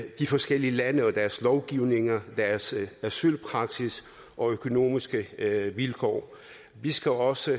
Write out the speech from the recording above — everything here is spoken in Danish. de forskellige lande og deres lovgivninger asylpraksis og økonomiske vilkår vi skal også